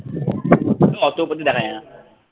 অত কিছু দেখা যায় না।